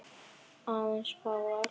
En aðeins fáar.